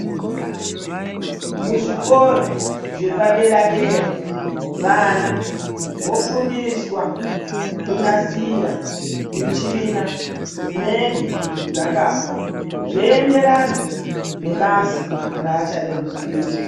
Muzvikora zvepadera-dera vana vofundiswa kunasira michina dzinenge dzakafa zveienderana nebasa raachade kuzoita.